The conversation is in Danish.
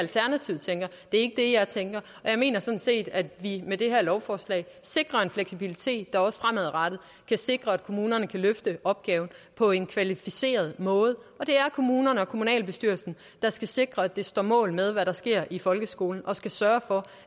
ikke det jeg tænker jeg mener sådan set at vi med det her lovforslag sikrer en fleksibilitet der også fremadrettet kan sikre at kommunerne kan løfte opgaven på en kvalificeret måde og det er kommunerne og kommunalbestyrelserne der skal sikre at det står mål med hvad der sker i folkeskolen og skal sørge for